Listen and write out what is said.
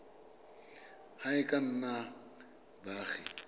ba e ka nnang baagi